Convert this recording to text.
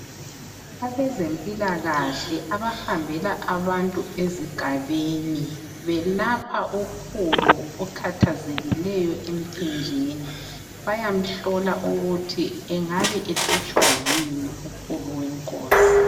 Abezempilakahle ,abahambela abantu ezigabeni .Belapha ukhulu okhathazekileyo emphinjeni ,bayamhlola ukuthi engaba ehlutshwa yini ukhulu wenkosi .